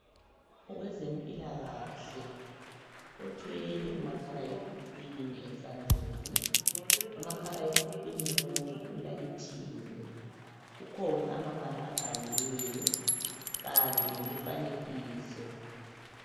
Oweze mpila kahle othwele umakhala ekhukwini esandleni umakhala ekhukwini lowu ulayithiwe kukhona amabala abhaliweyo kanye lemifanekiso